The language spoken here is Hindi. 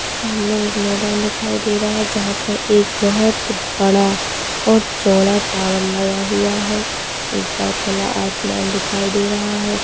सामने एक मैदान दिखाई दे रहा है जहां पर एक बहुत बड़ा और चौड़ा टावर लगा हुआ है ऊपर खुला आसमान दिखाई दे रहा है।